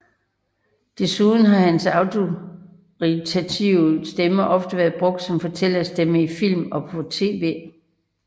Desuden har hans autoritative stemme ofte været brugt som fortællerstemme i film og på tv